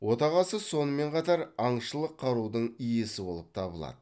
отағасы сонымен қатар аңшылық қарудың иесі болып табылады